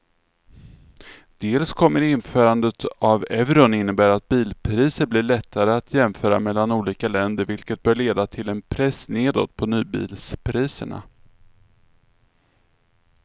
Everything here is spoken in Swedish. Dels kommer införandet av euron innebära att bilpriser blir lättare att jämföra mellan olika länder vilket bör leda till en press nedåt på nybilspriserna.